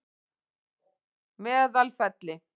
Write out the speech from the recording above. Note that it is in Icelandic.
Meðalfelli